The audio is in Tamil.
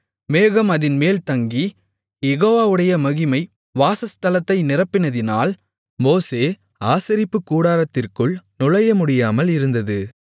மேகம் அதின்மேல் தங்கி யெகோவாவுடைய மகிமை வாசஸ்தலத்தை நிரப்பினதினால் மோசே ஆசரிப்புக்கூடாரத்திற்குள் நுழையமுடியாமல் இருந்தது